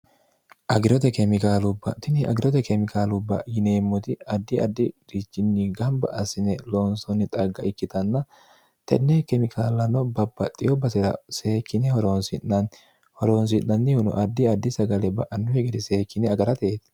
agirote keemikaalubbatini agirote keemikaalubba yineemmoti addi addi richinni gamba asine loonsoonni xagga ikkitanna tenne kemikaallano babaxxiyo basira seekkine horoonsi'nanni horoonsi'nannihuno addi addi sagale ba'annu higiri seekkine agarateeti